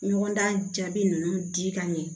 Ɲɔgɔn dan jaabi ninnu di ka ɲɛ